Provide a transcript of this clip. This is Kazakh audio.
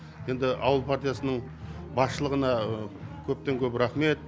енді ауыл партиясының басшылығына көптен көп рахмет